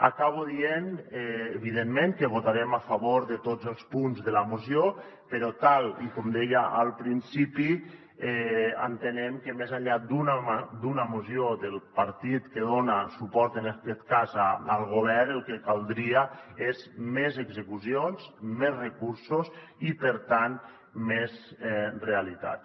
acabo dient evidentment que votarem a favor de tots els punts de la moció però tal com deia al principi entenem que més enllà d’una moció del partit que dona suport en aquest cas al govern el que caldria són més execucions més recursos i per tant més realitats